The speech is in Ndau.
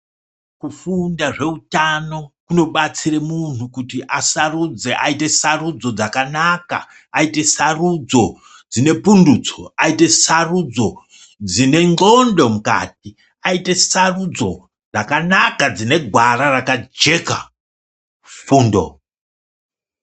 Kufunda zvehutano kunobatsira munhu kuti asarudze aite sarudzo dzakanaka ,aite sarudzo dzine pundutso ,aite sarudzo dzine nqondo mukati ,aite sarudzo dzakanaka dzine gwara rakajeka fundo.